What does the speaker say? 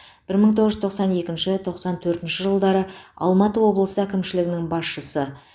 бір мың тоғыз тоқсан екінші тоқсан төртінші жылдары алматы облысы әкімшілігінің басшысы